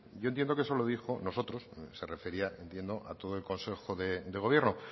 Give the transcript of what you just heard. yo entiendo que eso lo dijo nosotros se refería entiendo a todo el consejo de gobierno